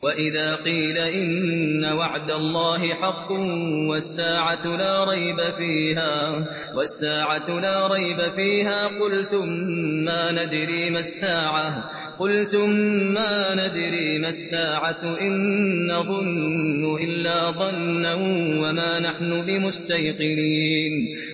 وَإِذَا قِيلَ إِنَّ وَعْدَ اللَّهِ حَقٌّ وَالسَّاعَةُ لَا رَيْبَ فِيهَا قُلْتُم مَّا نَدْرِي مَا السَّاعَةُ إِن نَّظُنُّ إِلَّا ظَنًّا وَمَا نَحْنُ بِمُسْتَيْقِنِينَ